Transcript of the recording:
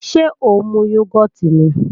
Ṣé ó ń mu yógọ́ọ̀tì ni?